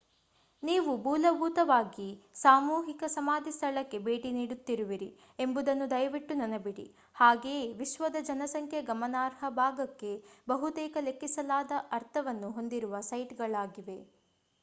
ನೀವು ಮೂಲಭೂತವಾಗಿ ಸಾಮೂಹಿಕ ಸಮಾಧಿ ಸ್ಥಳಕ್ಕೆ ಭೇಟಿ ನೀಡುತ್ತಿರುವಿರಿ ಎಂಬುದನ್ನು ದಯವಿಟ್ಟು ನೆನಪಿಡಿ ಹಾಗೆಯೇ ವಿಶ್ವದ ಜನಸಂಖ್ಯೆಯ ಗಮನಾರ್ಹ ಭಾಗಕ್ಕೆ ಬಹುತೇಕ ಲೆಕ್ಕಿಸಲಾಗದ ಅರ್ಥವನ್ನು ಹೊಂದಿರುವ ಸೈಟ್‌ಗಳಾಗಿವೆ